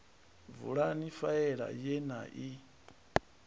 vulani faela ye na i